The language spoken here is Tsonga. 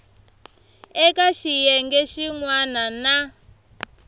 eka xiyenge xin wana na